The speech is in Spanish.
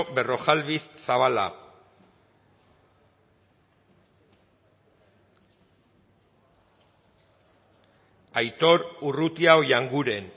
berrojalbiz zabala aitor urrutia oianguren